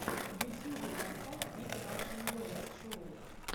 в ютьюбе поставь биг рашн босс шоу